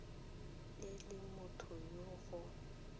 e le motho yo go